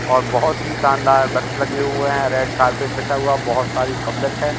और बहुत ही शानदार वृक्ष लगे हुए हैं रेड कारपेट बिछा हुआ है बहुत सारी पब्लिक है।